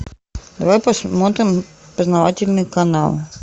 давай посмотрим познавательный канал